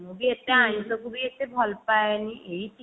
ମୁଁ ବି ଏତେ ଆଇଂଷ କୁ ବି ଏତେ ଭଲ ପାଏନି ଏଇ